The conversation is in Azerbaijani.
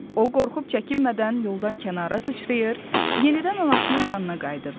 O qorxub çəkinmədən yoldan kənara sıçrayır, yenidən anasının yanına qayıdırdı.